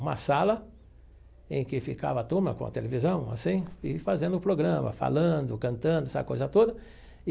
Uma sala em que ficava a turma com a televisão, assim, e fazendo o programa, falando, cantando, essa coisa toda e.